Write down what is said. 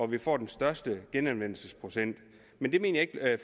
vi får den største genanvendelsesprocent men det mener jeg